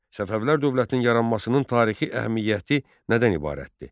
Səfəvilər dövlətinin yaranmasının tarixi əhəmiyyəti nədən ibarətdir?